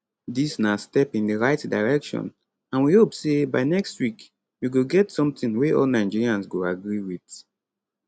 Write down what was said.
dis na step in di right direction and we hope say by next week we go get something wey all nigerians go agree wit